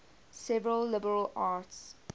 seven liberal arts